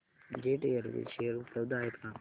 jet airways share उपलब्ध आहेत का